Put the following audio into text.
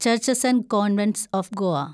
churches and convents of Goa